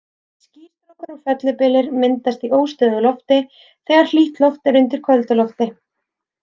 Skýstrókar og fellibyljir myndast í óstöðugu lofti, þegar hlýtt loft er undir köldu lofti.